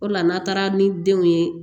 O de la n'a taara ni denw ye